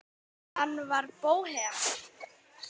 Hann var bóhem.